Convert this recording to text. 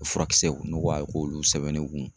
Furakisɛw ne ko k'a k'olu sɛbɛn ne kun